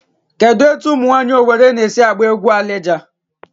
Kedụ etu umụ nwaanyị Owere na-esi agba egwu Alija?